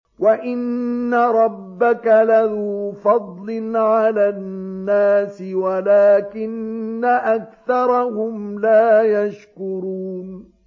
وَإِنَّ رَبَّكَ لَذُو فَضْلٍ عَلَى النَّاسِ وَلَٰكِنَّ أَكْثَرَهُمْ لَا يَشْكُرُونَ